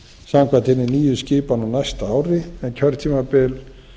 samkvæmt hinni nýju skipan á næsta ári en kjörtímabil